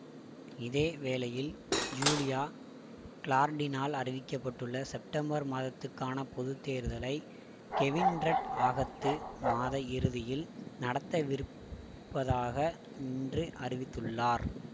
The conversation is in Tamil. இதேவேளையில் ஜூலியா கிலார்டினால் அறிவிக்க பட்டுள்ள செப்டம்பர் மாதத்துக்கான பொது தேர்தலை கெவின் ரட் ஆகத்து மாத இறுதியில் நடத்த விருப்பதாக இன்று அறிவித்துள்ளார்